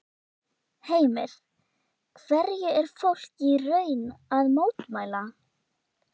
Heimir, hverju er fólk í raun að mótmæla?